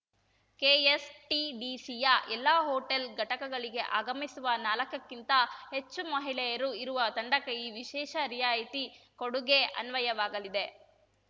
ಕೆಎಸ್‌ಟಿಡಿಸಿಯ ಎಲ್ಲಾ ಹೋಟೆಲ್‌ ಘಟಕಗಳಿಗೆ ಆಗಮಿಸುವ ನಾಲ್ಕಕ್ಕಿಂತ ಹೆಚ್ಚು ಮಹಿಳೆಯರು ಇರುವ ತಂಡಕ್ಕೆ ಈ ವಿಶೇಷ ರಿಯಾಯಿತಿ ಕೊಡುಗೆ ಅನ್ವಯವಾಗಲಿದೆ